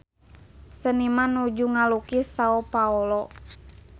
Seniman nuju ngalukis Sao Paolo